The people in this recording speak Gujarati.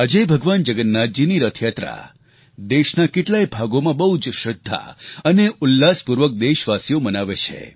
આજે ભગવાન જગન્નાથજીની રથયાત્રા દેશના કેટલાય ભાગોમાં બહુ જ શ્રદ્ધા અને ઉલ્લાસપૂર્વક દેશવાસીઓ મનાવે છે